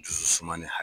Dusu suma ni ha